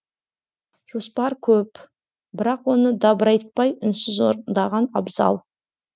жоспар көп бірақ оны дабырайтпай үнсіз орындаған абзал